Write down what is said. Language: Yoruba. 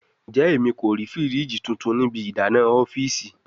Njẹ Emi ko rii firiji tuntun ni ibi idana ọfiisi?